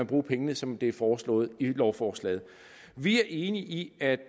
bruge pengene som det er foreslået i lovforslaget vi er enige i at